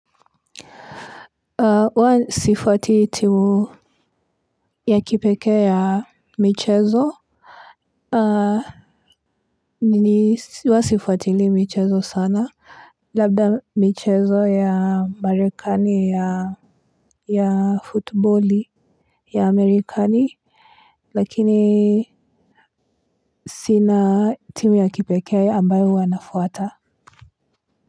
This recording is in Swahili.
Huwa sifuati timu ya kipekee ya michezo. Huwa sifuatili michezo sana, labda michezo ya marekani ya futboli ya Marekani lakini sina timu ya kipekee ambayo huwa nafuata.